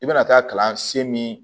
I bɛna taa kalansen min